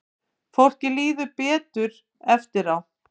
Fólki líður þá betur eftir á.